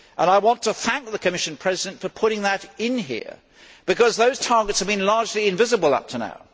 I want to thank the Commission President for putting that in here, because those targets have been largely invisible up to now.